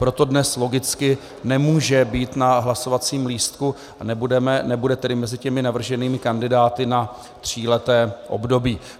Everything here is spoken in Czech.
Proto dnes logicky nemůže být na hlasovacím lístku a nebude tedy mezi těmi navrženými kandidáty na tříleté období.